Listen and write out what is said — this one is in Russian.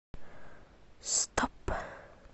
стоп